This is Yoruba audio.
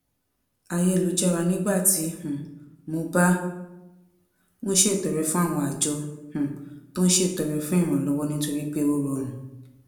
ayélujára nígbà tí um mo bá ń ṣètọrẹ fún àwọn àjọ um tó ń ṣètọrẹ fún ìrànlọwọ nítorí pé ó rọrùn